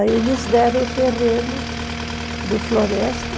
Aí eles deram o terreno do Floresta.